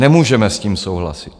Nemůžeme s tím souhlasit.